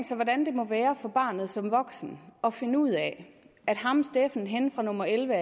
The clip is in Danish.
sig hvordan det må være for barnet som voksen at finde ud af at ham steffen henne fra nummer elleve